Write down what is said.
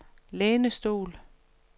lænestol